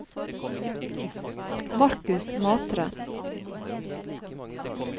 Markus Matre